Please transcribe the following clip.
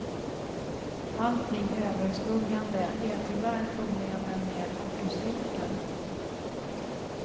Allting överskuggande är tyvärr problemen med akustiken.